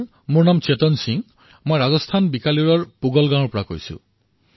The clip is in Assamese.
মোৰ নাম শৌতান সিং জিলাবিকানেৰ তহচীল পুগল ৰাজস্থানৰ পৰা কৈ আছোঁ